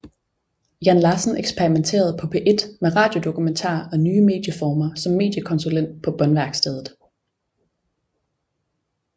Jan Larsen eksperimenterede på P1 med radiodokumentar og nye medieformer som mediekonsulent på Båndværkstedet